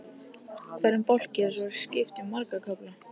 Hverjum bálki er svo skipt í marga kafla.